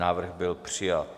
Návrh byl přijat.